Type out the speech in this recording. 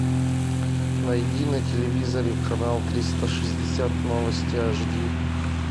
найди на телевизоре канал триста шестьдесят новости ашди